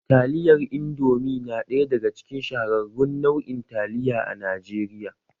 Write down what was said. Taliyar Indomi na ɗaya daga cikin shahararrun nau'in taliya a Najeriya